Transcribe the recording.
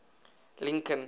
lincoln